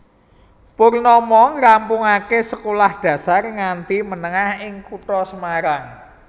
Purnomo ngrampungaké sekolah dasar nganti menengah ing kutha Semarang